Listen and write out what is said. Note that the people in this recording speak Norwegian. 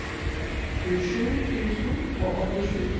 tjuesju tusen og åttisju